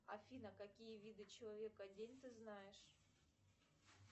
афина какие виды человека день ты знаешь